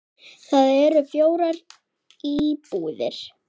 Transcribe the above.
Þar eru fjórar íbúðir.